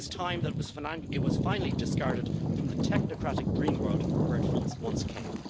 It is time that it was finally discarded from the technocratic dreamworld from where it came.